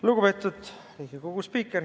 Lugupeetud Riigikogu spiiker!